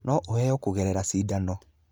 No ũheo kũgerera cindano.